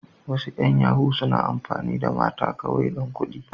Wasu yan yahoo suna amfani da mata kawai dan kuɗi.